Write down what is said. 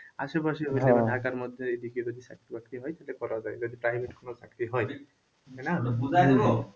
আশেপাশে হইলে বা ঢাকার মধ্যে এদিকে যদি চাকরি-বাকরি হয় তাহলে করা যায় যদি private কোন চাকরি হয় তাই না?